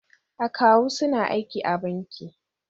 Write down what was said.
Akawu suna aiki a banki.